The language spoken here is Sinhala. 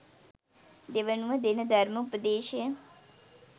දෙවනුව දෙන ධර්ම උපදේශය